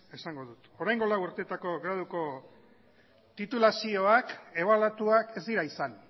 esango dut oraingo lau urtetako graduko titulazioak ebaluatuak ez dira izan